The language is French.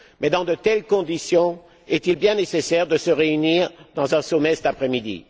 Dans de telles conditions, est il bien nécessaire de se réunir lors d'un sommet cet après midi?